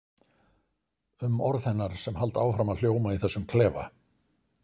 Um orð hennar sem halda áfram að hljóma í þessum klefa.